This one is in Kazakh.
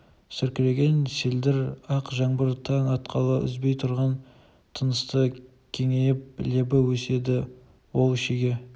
сіркіреген селдір ақ жаңбыр таң атқалы үзбей тұрған тынысты кеңейіп лебі еседі ол шеге